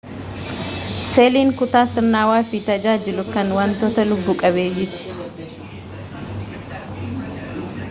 seeliin kutaa sirnawaa fi tajaajilu =kan wantoota lubbu qabeeyyiiti